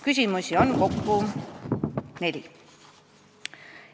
Küsimusi on kokku neli.